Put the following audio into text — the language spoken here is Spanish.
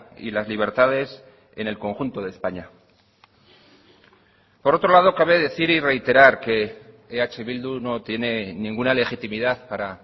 y las libertades en el conjunto de españa por otro lado cabe decir y reiterar que eh bildu no tiene ninguna legitimidad para